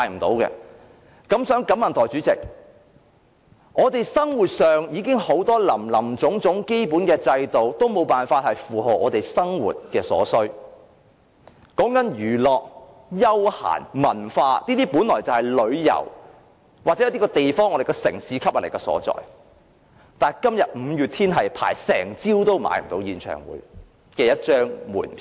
代理主席，我們生活上有很多林林總總的基本制度已經無法應付我們的生活所需，說到娛樂、休閒、文化等，本來是旅遊或一個地方、我們城市的吸引力所在，但今天輪候一整個早上，也購買不到一張五月天的演唱會門票。